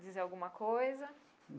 Dizer alguma coisa?